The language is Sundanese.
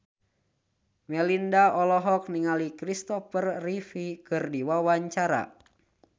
Melinda olohok ningali Christopher Reeve keur diwawancara